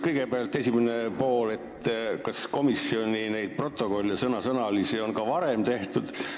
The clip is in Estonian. Kõigepealt: kas komisjonis on sõnasõnalisi protokolle ka varem tehtud?